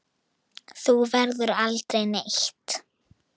Þú ferð aldrei neitt.